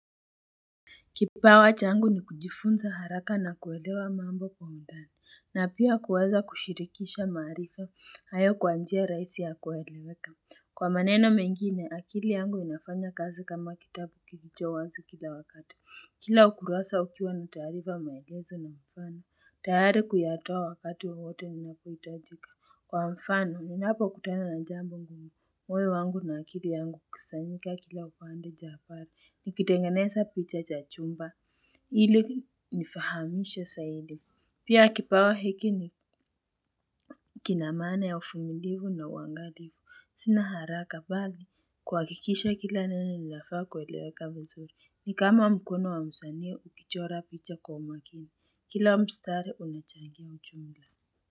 Kipawa changu ni kujifunza haraka na kuelewa mambo kwa undani, na pia kuweza kushirikisha maarifa, hayo kwa njia rahisi ya kueleweka. Kwa maneno mengine, akili yangu inafanya kazi kama kitabu kilicho wazi kila wakati. Kila ukurasa ukiwa na taarifa maelezo na mfano, tayari kuyatoa wakati wowote inapoitajika. Kwa mfano ninapo kutana na jambo ngumu moyo wangu na akili yangu ukusanyika kila upande jabari nikitengeneza picha cha chumba hili nifahamisha sahidi pia kipawa hiki ni kinamaana ya ufumilivu na uangalivu sina haraka bali kuwakikisha kila neno linafaa kuweleweka vizuri ni kama mkono wa msanii ukichora picha kwa umakini kila mstari unachangia uchungla.